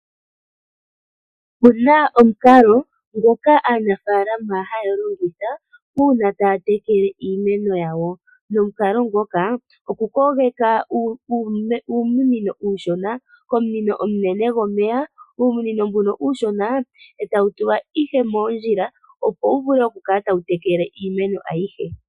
Opena omukalo ngoka aanafalama haya longitha uuna taya tekele iimeno yawo nomukalo ngoka okukogeka uumunino uushona komunino omunene gomeya, omunino mbuka uushona etawu tulwa ihe moondjila opo vule okukala tawu tekele iimeno ayihe.